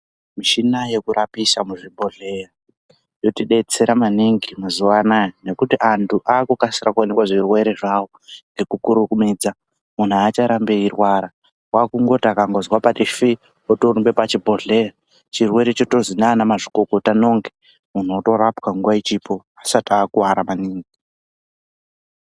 Mishina yekurapisa muzvibhohleya inotidetsera maningi mazuwa anaa nekuti antu akukasira kuonekwe zvirwere zvawo nekukurumidza. Munhu aacharambi eirwara wakungoti akangozwa patifi otorumbe pachibhedhleya, chirwere chotozi nanamazvikokota nonge munhu otorapwa nguwa ichiripo asati akuwara maningi.